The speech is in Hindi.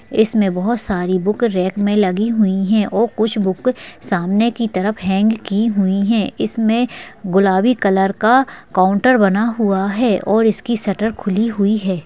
इसमें बहुत सारी बुक रैक में लगी हुई है और कुछ बुक सामने की तरफ हैंग की हुई है इसमें गुलाबी कलर का काउंटर बना हुआ है और इसकी शटर खुली हुई है।